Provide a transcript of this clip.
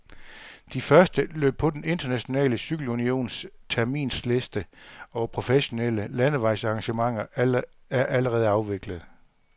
De første løb på den internationale cykelunions terminsliste over professionelle landevejsarrangementer er allerede afviklet.